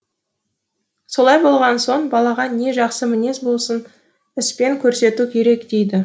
солай болған соң балаға не жақсы мінез болсын іспен көрсету керек дейді